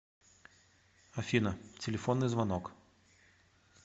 афина телефонный звонок